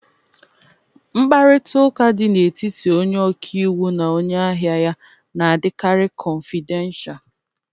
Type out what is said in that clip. Mkparịta ụka dị n'etiti onye ọka iwu na onye ahịa ya na-adịkari kọfidensha.